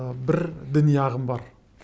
ы бір діни ағым бар